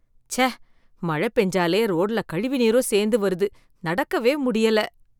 ச்ச மழ பேஞ்சாலே ரோட்ல கழிவு நீரும் சேந்து வருது நடக்கவே முடியல.